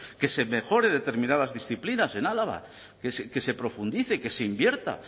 que se mejore determinadas disciplinas en álava que se profundice que se invierta